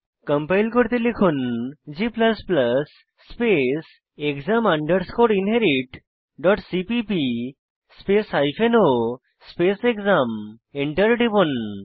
compile করতে লিখুন g space exam underscore inherit dot CPP space o space exam Enter টিপুন